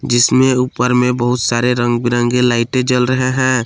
जिसमें ऊपर में बहुत सारे रंग बिरंगे लाइटे जल रहे हैं।